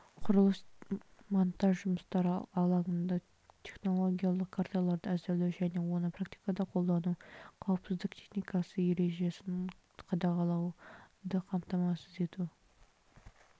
құрылыс-монтаж жұмыстары алаңында технологиялық карталарды әзірлеу және оны практикада қолдану қауіпсіздік техникасы ережесін қадағалауды қамтамасыз ету